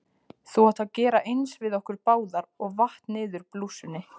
Þú átt að gera eins við okkur báðar- og vatt niður blússunni.